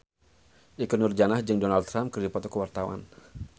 Ikke Nurjanah jeung Donald Trump keur dipoto ku wartawan